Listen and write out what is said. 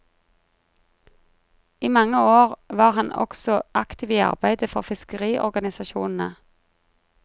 I mange år var han også aktiv i arbeidet for fiskeriorganisasjonene.